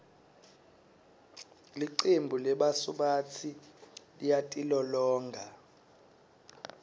licembu lebasubatsi liyatilolonga